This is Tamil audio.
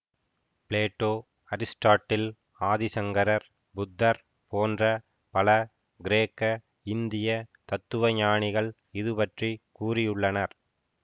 பிளேட்டோ அரிஸ்ட்டாட்டில் ஆதிசங்கரர் புத்தர் போன்ற பல கிரேக்க இந்திய தத்துவ ஞானிகள் இது பற்றி கூறியுள்ளனர்